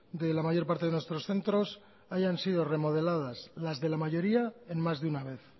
de la mayor parte de nuestros centros hayan sido remodeladas las de la mayoría en más de una vez